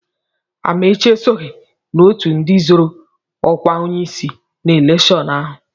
Amaechi esoghị n'ọtụ ndị zọ́rọ́ ọ́kwá onyeisi na elekshọn ahụ.